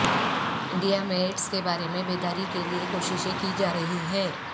India میں AIDS کے بارے میں بیداری کے لیے کوششیں کی جارہی ہیں